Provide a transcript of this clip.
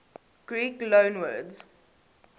greek loanwords